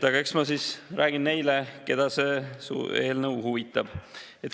Eks ma siis räägin neile, keda see eelnõu huvitab.